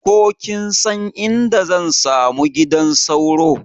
Ko kinsan inda zan samu gidan sauro?